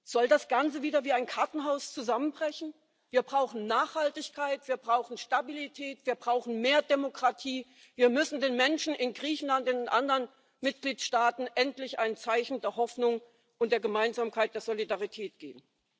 Soll das Ganze wieder wie ein Kartenhaus zusammenbrechen? Wir brauchen Nachhaltigkeit, wir brauchen Stabilität, wir brauchen mehr Demokratie, wir müssen den Menschen in Griechenland, in anderen Mitgliedstaaten endlich ein Zeichen der Hoffnung und der Gemeinsamkeit, der Solidarität geben.